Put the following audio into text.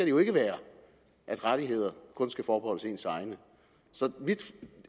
jo ikke være at rettigheder kun skal forbeholdes ens egne så mit